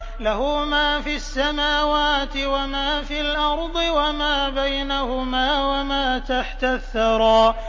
لَهُ مَا فِي السَّمَاوَاتِ وَمَا فِي الْأَرْضِ وَمَا بَيْنَهُمَا وَمَا تَحْتَ الثَّرَىٰ